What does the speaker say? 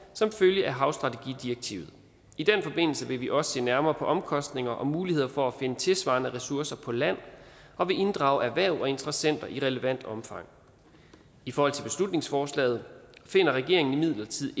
som følge af havstrategidirektivet i den forbindelse vil vi også se nærmere på omkostninger og muligheder for at finde tilsvarende ressourcer på land og vil inddrage erhverv og interessenter i relevant omfang i forhold til beslutningsforslaget finder regeringen imidlertid